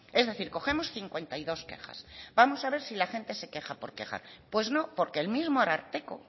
es decir cogemos cincuenta y dos quejas vamos a ver si la gente se queja por quejar pues no porque el mismo ararteko